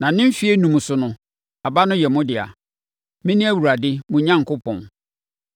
Na ne mfeɛ enum so no, aba no yɛ mo dea. Mene Awurade mo Onyankopɔn.